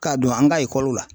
K'a don an ka ekɔliw la